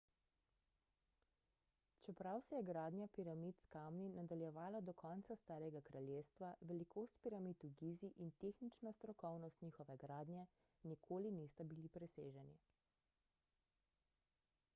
čeprav se je gradnja piramid s kamni nadaljevala do konca starega kraljestva velikost piramid v gizi in tehnična strokovnost njihove gradnje nikoli nista bili preseženi